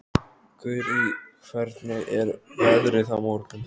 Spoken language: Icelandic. Gurrí, hvernig er veðrið á morgun?